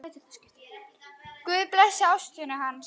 Guð blessi ástvini hans.